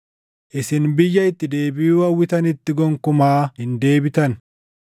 Isin biyya itti deebiʼuu hawwitanitti gonkumaa hin deebitan.”